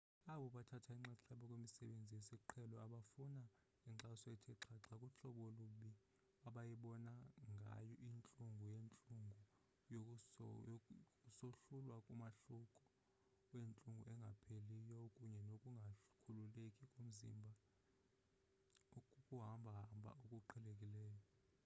abo bathatha inxaxheba kwimisebenzi yesiqhelo bafuna inkxaso ethe xhaxha kuhlobo olubi abayibona ngayo intlungu yeentlungu kusohlulwa umahluko wentlungu engapheliyo kunye nokungakhululeki komzimba kukuhamba hamba okuqhelekileyo